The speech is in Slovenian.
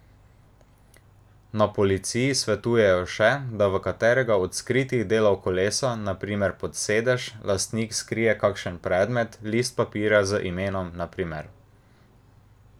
Na policiji svetujejo še, da v katerega od skritih delov kolesa, na primer pod sedež, lastnik skrije kakšen predmet, list papirja z imenom, na primer.